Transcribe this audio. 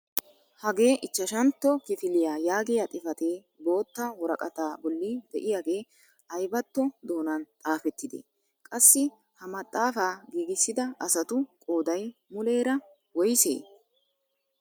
Hagee ichchashshantto kifiliyaa yaagiyaa xifatee bootta woraqataa bolli de'iyaagee aybatto doonan xaafettidee? Qassi ha maxaafaa giigissida asatu qooday muleera woysee?